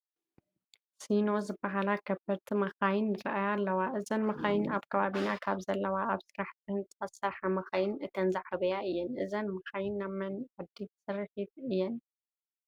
ሲኖ ዝበሃላ ከበድቲ መኻይን ይርአያ ኣለዎ፡፡ እዘን መኻይን ኣብ ከባቢና ካብ ዘለዋ ኣብ ስራሕቲ ህንፃ ዝሰርሓ መኻይን እተን ዝዓበያ እየን፡፡ እዘን መኻይን ናይ መን ዓዲ ስርሒት እየን?